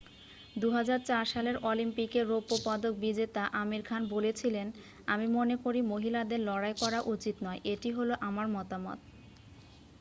"2004 সালের অলিম্পিকের রৌপ্য পদক বিজেতা আমির খান বলেছিলেন "আমি মনেকরি মহিলাদের লড়াই করা উচিত নয়""। "এটি হলো আমার মতামত""।